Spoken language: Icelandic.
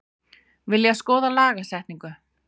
Vilja skoða lagasetningu